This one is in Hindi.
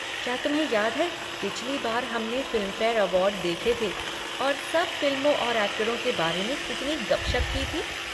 क्या तुम्हें याद है पिछली बार हमने फ़िल्मफ़ेयर अवार्ड देखे थे और सब फ़िल्मों और एक्टरों के बारे में कितनी गपशप की थी?